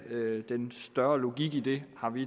den større logik i det har vi